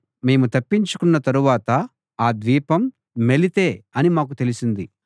మేము తప్పించుకొన్న తరువాత ఆ ద్వీపం మెలితే అని మాకు తెలిసింది